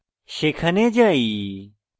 সেখানে যাই